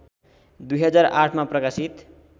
२००८ मा प्रकाशित